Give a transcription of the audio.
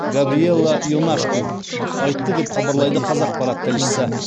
габриелла ионашку айтты деп хабарлайды қазақпарат тілшісі